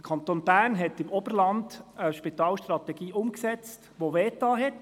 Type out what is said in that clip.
Der Kanton Bern hat im Oberland eine Spitalstrategie umgesetzt, die wehgetan hat.